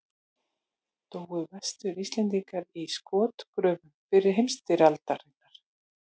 Dóu Vestur-Íslendingar í skotgröfum fyrri heimstyrjaldarinnar?